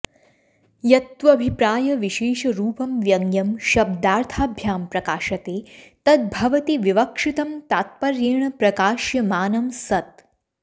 यत्त्वभिप्रायविशेषरूपं व्यङ्ग्यं शब्दार्थाभ्यां प्रकाशते तद्भवति विवक्षितं तात्पर्येण प्रकाश्यमानं सत्